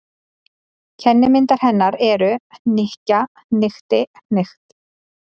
Kennimyndir hennar eru: hnykkja- hnykkti- hnykkt.